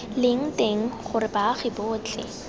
leng teng gore baagi botlhe